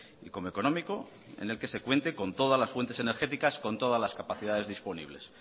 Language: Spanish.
y como económico en é que se cuente con todas las fuentes energéticas con todas las capacidades disponibles